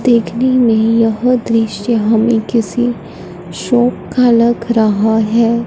देखने में यह दृश्य हमें किसी शॉप का लग रहा हैं।